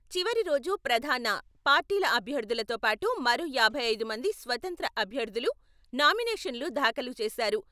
చివరి రోజు ప్రధాన పార్టీల అభ్యర్థులతో పాటు మరో యాభై ఐదు మంది స్వతంత్ర అభ్యర్థులు నామినేషన్లు దాఖలు చేశారు.